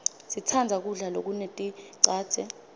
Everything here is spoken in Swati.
sitsandza kudla lokuneticadze